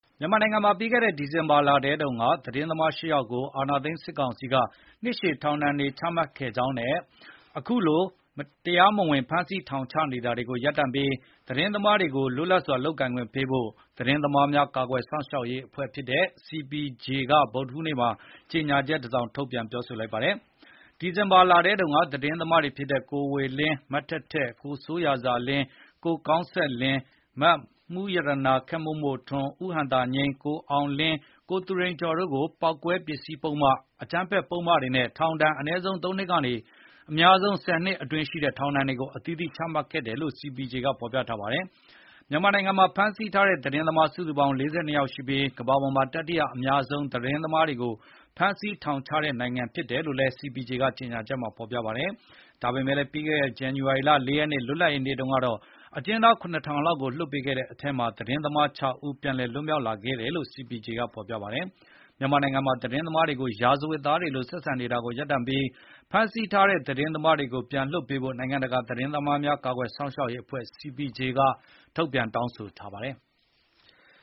မြန်မာနိုင်ငံမှာ ပြီးခဲ့တဲ့ဒီဇင်ဘာလထဲတုန်းက သတင်းသမား ၈ ယောက်ကို အာဏာသိမ်းစစ်ကောင်စီက နှစ်ရှည် ထောင်ဒဏ်တွေချမှတ်ခဲ့ကြောင်းနဲ့ အခုလို တရားမဝင် ဖမ်းဆီးထောင်ချနေတာတွေကိုရပ်တန့်ပြီး သတင်းသမားတွေကို လွတ်လပ်စွာလုပ်ကိုင်ခွင့်ပေးဖို့ သတင်းသမားများကာကွယ်ရေးအဖွဲ့ဖြစ်တဲ့ CPJ က ဗုဒ္ဓဟူးနေ့မှာကြေညာချက်တစောင် ထုတ်ပြန်ပြောပါတယ်။ ဒီဇင်ဘာလထဲတုန်းက သတင်းသမားတွေဖြစ်တဲ့ ကိုဝေလင်း၊ မထက်ထက်၊ ကိုစိုးရာဇာလင်း၊ ကိုကောင်းဆက်လင်း၊ မမှူးရတနာခက်မို့မို့ထွန်း၊ ဦးဟံသာငြိမ်း၊ ကိုအောင်လင်း၊ ကိုသူရိန်ကျော်တို့ကို ပေါက်ကွဲပစ္စည်းပုဒ်မ၊ အကြမ်းဖက်ပုဒ်မတွေနဲ့ ထောင်ဒဏ် အနည်းဆုံး ၃ နှစ်ကနေ အများဆုံး ၁၀ နှစ်အတွင်းရှိတဲ့ ထောင်ဒဏ်တွေ အသီးသီးချမှတ်ခဲ့တယ်လို့ CPJ ဖေါ်ပြထားပါတယ်။ မြန်မာနိုင်ငံမှာ ဖမ်းဆီးထားတဲ့သတင်းသမား စုစုပေါင်း ၄၂ ယောက်ရှိပြီး ကမ္ဘာပေါ်မှာ တတိယအများဆုံး သတင်းသမားတွေကို ဖမ်းဆီးထောင်ချတဲ့နိုင်ငံဖြစ်တယ်လို့လည်း CPJ ကပြောထားပါတယ်။ ဒါပေမယ့် ပြီးခဲ့တဲ့ဇန္နဝါရီလ ၄ ရက်နေ့ လွတ်လပ်ရေးနေ့တုန်းက အကျဉ်းသား ၇,၀၀၀ လောက်ကိုလွှတ်ပေးခဲ့တဲ့အထဲမှာ သတင်းသမား ၆ ဦး ပြန်လည်လွတ်မြောက်လာခဲ့တယ်လို့ CPJ ရဲ့ကြေညာချက်မှာ ဖေါ်ပြထားပါတယ်။ မြန်မာနိုင်ငံမှာ သတင်းသမားတွေကို ရာဇဝတ်သားတွေလိုဆက်ဆံနေတာကို ရပ်တန့်ပြီး ဖမ်းဆီးထားတဲ့သတင်းမားတွေကို ပြန်လွှတ်ပေးဖို့ နိုင်ငံတကာသတင်းသမားများကာကွယ်ရေးအဖွဲ့ CPJ ကတောင်းဆိုထားပါတယ်။